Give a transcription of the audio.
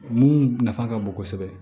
Mun nafa ka bon kosɛbɛ